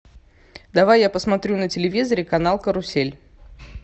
давай я посмотрю на телевизоре канал карусель